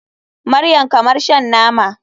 Maryam kamar shan nama.